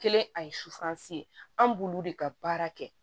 Kelen a ye suwasi an b'olu de ka baara kɛ